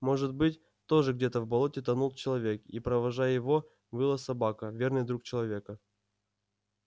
может быть тоже где-то в болоте тонул человек и провожая его выла собака верный друг человека